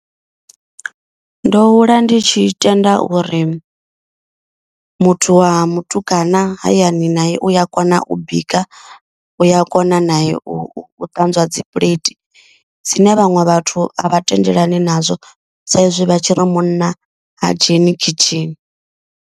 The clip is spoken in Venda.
Ndo hula ndi tshi tenda uri muthu wa mutukana hayani naye uya kona u bika. Uya kona nae u ṱanzwa dzi puḽeithi dzine vhaṅwe vhathu a vha tendelani nazwo. Sa izwi vha tshi ri munna ha dzheni khishini.